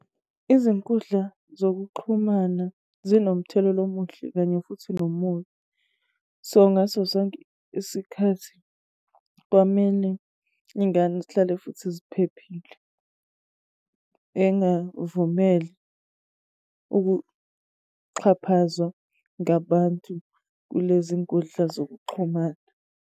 Izinkundla zokuxhumana zinomthelela omuhle kanye futhi nomubi. So, ngaso sonke isikhathi kwamele iy'ngane zihlale futhi ziphephile. Engavumeli ukuxhaphazwa ngabantu kulezi nkundla zokuxhumana.